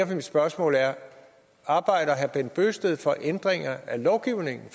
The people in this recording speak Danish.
mit spørgsmål er arbejder herre bent bøgsted for ændringer af lovgivningen